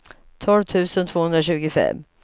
tolv tusen tvåhundratjugofem